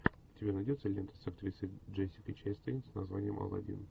у тебя найдется лента с актрисой джессикой честейн с названием алладин